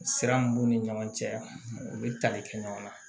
Sira min b'u ni ɲɔgɔn cɛ u bɛ tali kɛ ɲɔgɔn na